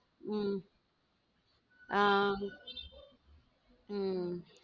உம் அஹ் உம்